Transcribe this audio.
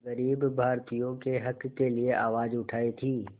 ग़रीब भारतीयों के हक़ के लिए आवाज़ उठाई थी